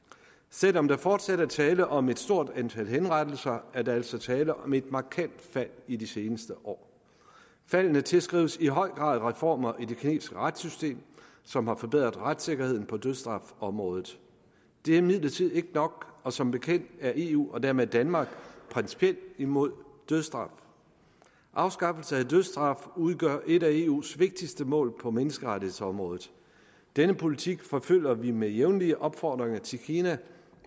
selv om der fortsat er tale om et stort antal henrettelser er der altså tale om et markant fald i de seneste år faldet tilskrives i høj grad reformer i det kinesiske retssystem som har forbedret retssikkerheden på dødsstrafområdet det er imidlertid ikke nok og som bekendt er eu og dermed danmark principielt imod dødsstraf afskaffelse af dødsstraf udgør et af eus vigtigste mål på menneskerettighedsområdet denne politik forfølger vi med jævnlige opfordringer til kina